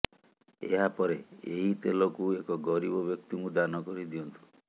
ଏହା ପରେ ଏହି ତେଲକୁ ଏକ ଗରିବ ବ୍ୟକ୍ତିକୁ ଦାନ କରି ଦିଅନ୍ତୁ